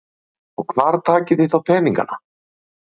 Jóhanna Margrét: Og hvar takið þið þá peninga?